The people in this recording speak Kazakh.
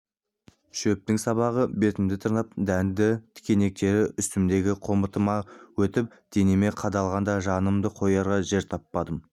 шөптің сабағы бетімді тырнап дәнді тікенектері үстімдегі қомытымнан өтіп денеме қадалғанда жанымды қоярға жер таппадым